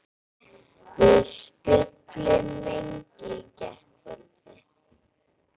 Við spjölluðum lengi í gærkvöldi.